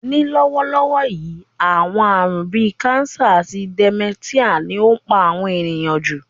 Ní lówólówó yi, àwon àrún bi cancer àti dementia ni o n pa àwon èyàn jù